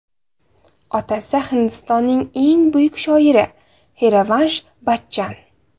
Otasi Hindistonning eng buyuk shoiri Xarivansh Bachchan.